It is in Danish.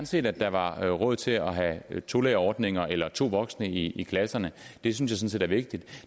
set at der var råd til at have tolærerordninger eller to voksne i klasserne det synes jeg sådan set er vigtigt